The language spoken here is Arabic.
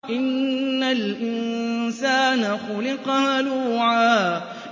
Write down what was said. ۞ إِنَّ الْإِنسَانَ خُلِقَ هَلُوعًا